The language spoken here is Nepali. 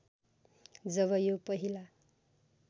जब यो पहिला